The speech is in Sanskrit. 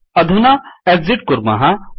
अधुना एक्सिट् कुर्मः